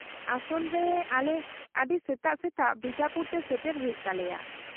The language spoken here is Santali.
-ᱟᱥᱚᱞ ᱨᱮ ᱟᱞᱮ ᱟᱹᱰᱤ ᱥᱮᱛᱟᱜ ᱥᱮᱛᱟᱜ ᱵᱤᱡᱟᱯᱩᱨ ᱛᱮ ᱥᱮᱴᱮᱨ ᱦᱩᱭᱩᱜ ᱛᱟᱞᱮᱭᱟ ᱾